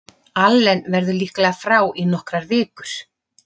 Allen verður líklega frá í nokkrar vikur.